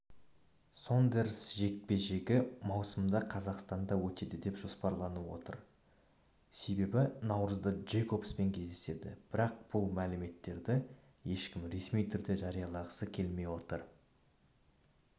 сондерс жекпе-жегі маусымда қазақстанда өтеді деп жоспарланып отыр себебі наурызда джейкосбпен кездеседі бірақ бұл мәліметті ешкім ресми түрде жариялағысы келмей отыр